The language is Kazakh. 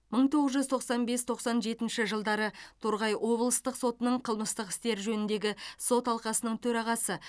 мың тоғыз жүз тоқсан бес тоқсан жетінші жылдары торғай облыстық сотының қылмыстық істер жөніндегі сот алқасының төрағасы